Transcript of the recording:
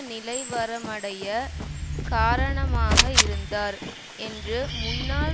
நிலைவரமடைய காரணமாக இருந்தார் என்று முன்னாள்